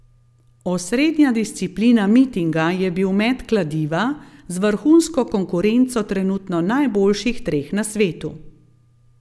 Osrednja disciplina mitinga je bil met kladiva z vrhunsko konkurenco trenutno najboljših treh na svetu.